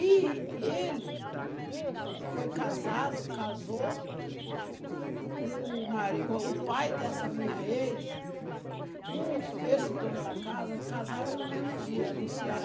E ele foi casado, casou, o marido, o pai dessa minha ex com esse dono da casa, casaram no mesmo dia, no Ceará.